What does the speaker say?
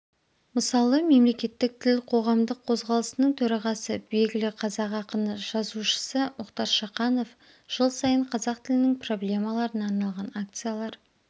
мысалы мемлекеттік тіл қоғамдық қозғалысының төрағасы белгілі қазақ ақыны жазушысы мұхтар шаханов жыл сайын қазақ тілінің проблемаларына арналған акциялар